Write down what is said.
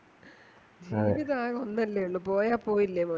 ജീവിതം ആകെ ഒന്നല്ലേയുള്ളൂ പോയാ പോയില്ലേ മോനേ